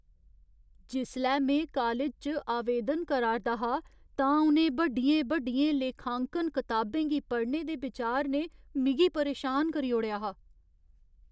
जिसलै में कालज च आवेदन करा 'रदा हा तां उ'नें बड्डियें बड्डियें लेखांकन कताबें गी पढ़ने दे बिचार ने मिगी परेशान करी ओड़ेआ हा।